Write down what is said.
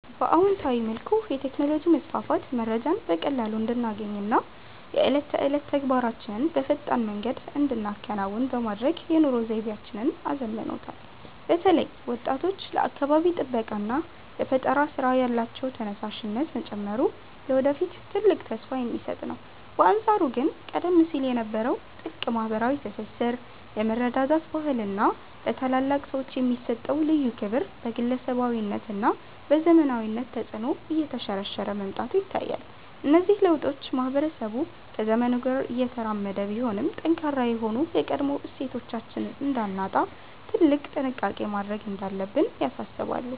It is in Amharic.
በአዎንታዊ መልኩ፣ የቴክኖሎጂ መስፋፋት መረጃን በቀላሉ እንድናገኝና የዕለት ተዕለት ተግባራችንን በፈጣን መንገድ እንድንከውን በማድረግ የኑሮ ዘይቤያችንን አዘምኖታል። በተለይ ወጣቶች ለአካባቢ ጥበቃና ለፈጠራ ሥራ ያላቸው ተነሳሽነት መጨመሩ ለወደፊት ትልቅ ተስፋ የሚሰጥ ነው። በአንጻሩ ግን ቀደም ሲል የነበረው ጥልቅ ማኅበራዊ ትስስር፣ የመረዳዳት ባህልና ለታላላቅ ሰዎች የሚሰጠው ልዩ ክብር በግለሰባዊነትና በዘመናዊነት ተጽዕኖ እየተሸረሸረ መምጣቱ ይታያል። እነዚህ ለውጦች ማኅበረሰቡ ከዘመኑ ጋር እየተራመደ ቢሆንም፣ ጠንካራ የሆኑ የቀድሞ እሴቶቻችንን እንዳናጣ ትልቅ ጥንቃቄ ማድረግ እንዳለብን ያሳስባሉ።